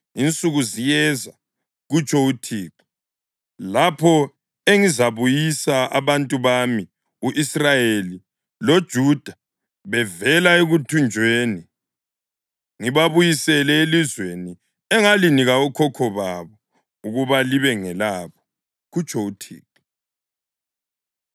Insuku ziyeza,’ kutsho uThixo, ‘lapho engizabuyisa abantu bami u-Israyeli loJuda bevela ekuthunjweni ngibabuyisele elizweni engalinika okhokho babo ukuba libe ngelabo,’ kutsho uThixo.”